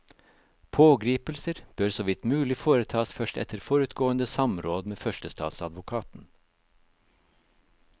Pågripelser bør så vidt mulig foretas først etter forutgående samråd med førstestatsadvokaten.